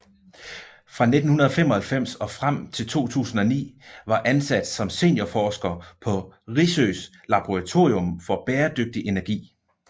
Fra 1995 og frem til 2009 var ansat som seniorforsker på Risøs laboratorium for bæredygtig energi